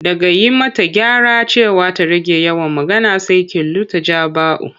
Daga yi mata gyara cewa ta rage yawan magana, sai kilu ta ja bau.